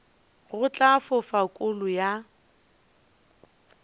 go tla fofa kolo ya